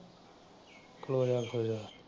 ਖਲੋ ਜਾ।